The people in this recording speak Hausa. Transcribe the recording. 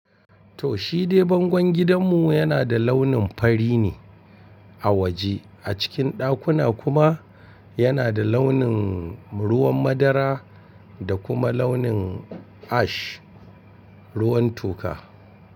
Toh shi dai bangon gidanmu yana da launin fari ne a waje, a cikin ɗakuna kuma yana da launin ruwan madara da kuma launin ash, ruwan toka.